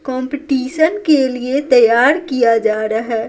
Competition के लिए तैयार किया जा रहा है।